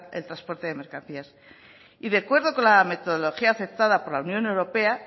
el transporte de mercancías y de acuerdo con la metodología aceptada por la unión europea